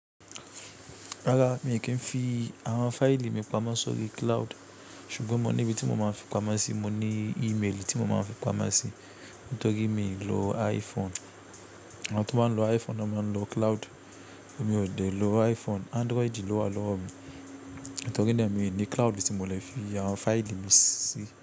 Rárá, mi i kí ń fi àwọn fáìlì mi pamọ́ sórí cloud. Ṣùgbọ́n mo ní ibi tí mo máa ń fi pamọ́ sí, mo ní ímeèlì tí mo máa ń fi pamọ́ sí. Nítorí mi i lo iPhone. Àwọn tó bá ń lo iPhone ni wọ́n ń máa lo cloud. Èmi ò dè lo iPhone, Android ló wà lọ́wọ́ mi. Nítorí náà mi i ní cloud tí mo lè fi àwọn fáìlì mi sí.